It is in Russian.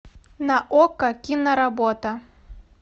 на окко киноработа